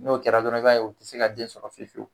N'o kɛra dɔrɔn i b'a ye u te se ka den sɔrɔ fiye fiyewu.